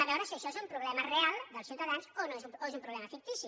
vegem si això és un problema real dels ciutadans o és un problema fictici